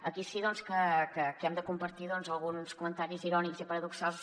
aquí sí doncs que hem de compartir alguns comentaris irònics i paradoxals